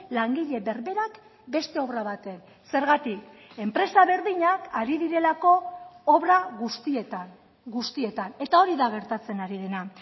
langile berberak beste obra baten zergatik enpresa berdinak ari direlako obra guztietan guztietan eta hori da gertatzen ari dena